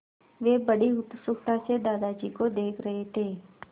वे बड़ी उत्सुकता से दादाजी को देख रहे थे